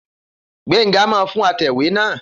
Gbenga máa fún atẹ̀wé náà